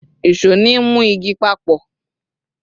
ìṣó ni mu igi papọ